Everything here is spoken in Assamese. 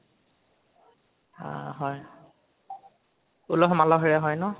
অ হয়, উলহ মালহৰে হয় ন?